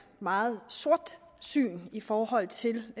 meget af sortsyn i forhold til